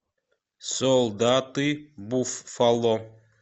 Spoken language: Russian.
солдаты буффало